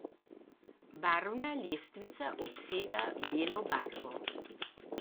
Barvna lestvica obsega belo barvo.